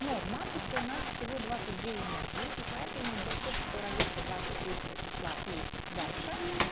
но в матрице у нас всего двадцать две энергии и поэтому для тех кто родился двадцать третьего числа и дальше